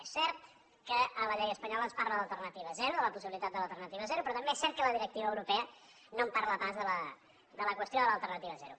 és cert que a la llei espanyola es parla d’alternativa zero de la possibilitat de l’alternativa zero però també és cert que la directiva europea no en parla pas de la qüestió de l’alternativa zero